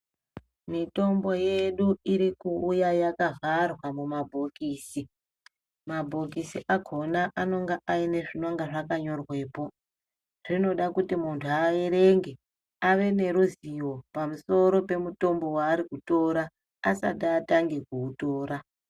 Mitombo yedu irikuuya yakavharwa mumabhokisi, mabhokisi akona anonga aine zvinonga zvakanyorwepo , zvinoda kuti muntu aerenge, aveneruzivo pamusoro pemutombo waari kutora asati atange kuutora